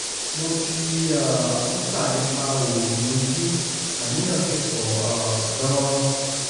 mo ti um ń kà nípa òòyì ojú àníyàn sì pọ̀ um gan-an